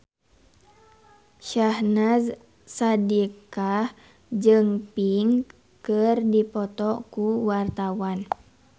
Syahnaz Sadiqah jeung Pink keur dipoto ku wartawan